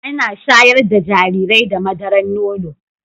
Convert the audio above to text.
Ana shayar da jarirai da madaran nono